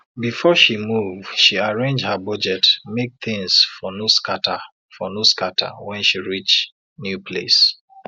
before she move she arrange her budget make things for no scatter for no scatter when she reach new place